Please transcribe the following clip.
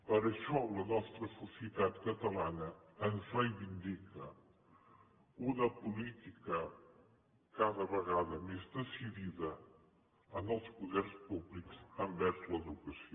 per això la nostra societat catalana ens reivindica una política cada vegada més decidida en els poders públics envers l’educació